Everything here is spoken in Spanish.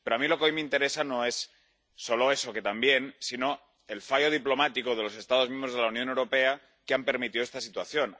Pero a mí lo que hoy me interesa no es solo eso —que también—, sino el fallo diplomático de los Estados miembros de la Unión Europea que han permitido esta situación.